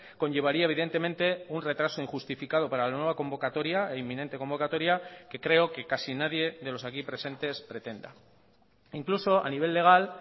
conllevaría evidentemente un retraso injustificado para la nueva convocatoria e inminente convocatoria que creo que casi nadie de los aquí presentes pretenda incluso a nivel legal